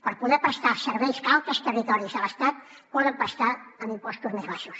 per poder prestar serveis cal que els territoris de l’estat poden prestar amb impostos més baixos